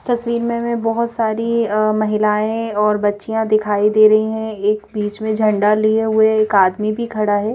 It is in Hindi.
तस्वीर में हमें बहोत सारी अं महिलाएं और बच्चियां दिखाई दे रही हैं एक बीच में झंडा लिए हुए एक आदमी भी खड़ा हैं।